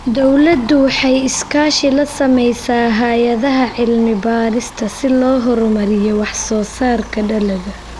Dawladdu waxay iskaashi la samaysaa hay'adaha cilmi-baadhista si loo horumariyo wax-soo-saarka dalagga.